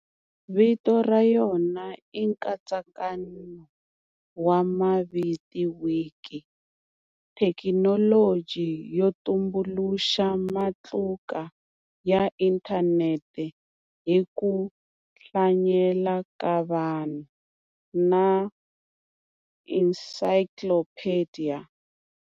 Vito rayona i nkatsakano wa maviti"wiki" thekinologi yo tumbuluxa matluka ya inthaneti hiku hlanyela ka vanhu, na"encyclopediya".